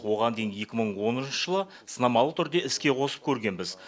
оған дейін екі мың оныншы жылы сынамалы түрде іске қосып көргенбіз